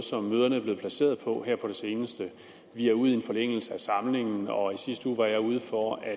møderne er blevet placeret på her på det seneste vi er ude i en forlængelse af samlingen og i sidste uge var jeg ude for at